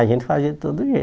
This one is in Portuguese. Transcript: A gente fazia de todo